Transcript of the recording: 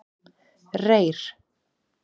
Reyr